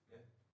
Ja